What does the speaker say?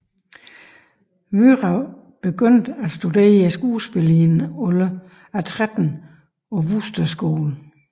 Wührer begyndte at studere skuespil i en alder af 13 på Wooster Skole